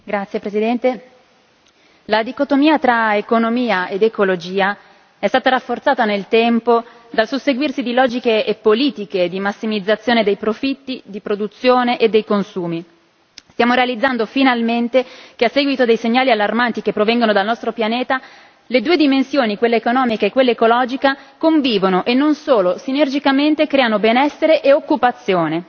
Signor Presidente, onorevoli colleghi, la dicotomia tra economia ed ecologia è stata rafforzata nel tempo dal susseguirsi di logiche e politiche di massimizzazione dei profitti, della produzione e dei consumi. Stiamo realizzando finalmente che, a seguito dei segnali allarmanti che provengono dal nostro pianeta, le due dimensioni, quelle economiche e quella ecologica, convivono e non solo sinergicamente creano benessere e occupazione.